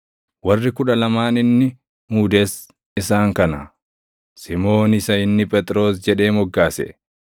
Warri kudha lamaan inni muudes isaan kana: Simoon isa inni “Phexros” jedhee moggaase,